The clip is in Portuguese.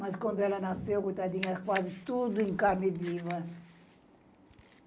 Mas quando ela nasceu, coitadinha, quase tudo em carne viva